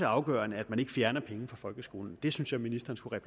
afgørende at man ikke fjerner penge fra folkeskolen det synes jeg ministeren skulle